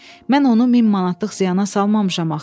Mən onu 1000 manatlıq ziyana salmamışam axı.